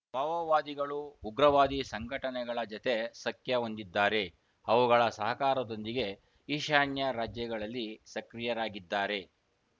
ಮಾವೋವಾದಿಗಳು ಉಗ್ರವಾದಿ ಸಂಘಟನೆಗಳ ಜತೆ ಸಖ್ಯ ಹೊಂದಿದ್ದಾರೆ ಅವುಗಳ ಸಹಕಾರದೊಂದಿಗೆ ಈಶಾನ್ಯ ರಾಜ್ಯಗಳಲ್ಲಿ ಸಕ್ರಿಯರಾಗಿದ್ದಾರೆ